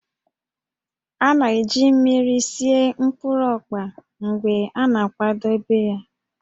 A na-eji mmiri sie mkpụrụ ọkpa mgbe a na-akwadebe ya